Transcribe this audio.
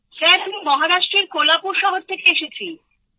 sir আমি মহারাষ্ট্রের কোলাপুর শহর থেকে এসেছি